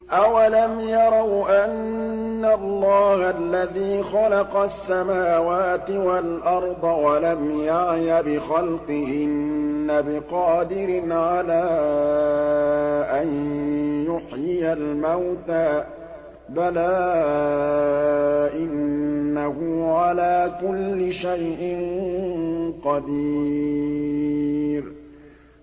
أَوَلَمْ يَرَوْا أَنَّ اللَّهَ الَّذِي خَلَقَ السَّمَاوَاتِ وَالْأَرْضَ وَلَمْ يَعْيَ بِخَلْقِهِنَّ بِقَادِرٍ عَلَىٰ أَن يُحْيِيَ الْمَوْتَىٰ ۚ بَلَىٰ إِنَّهُ عَلَىٰ كُلِّ شَيْءٍ قَدِيرٌ